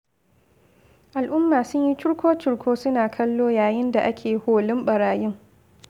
Al'umma sunyi curko-curko suna kallo yayin da ake holin ɓarayin.